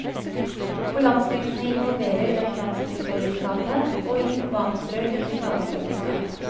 På landsbygdene involverer den landsbyfellesskapet, og i urbane strøk et nabofellesskap.